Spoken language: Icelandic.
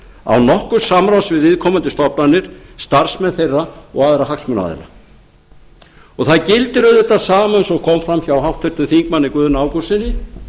án nokkurs samráðs við viðkomandi stofnanir starfsmenn þeirra og aðra hagsmunaaðila það gildir auðvitað sama eins og kom fram hjá háttvirtum þingmanni guðna ágústssyni